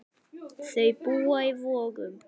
Þau búa í Vogum.